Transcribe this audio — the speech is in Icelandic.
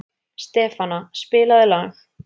Stefana, spilaðu lag.